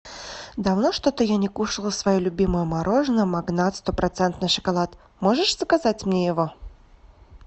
давно что то я не кушала свое любимое мороженое магнат сто процентный шоколад можешь заказать мне его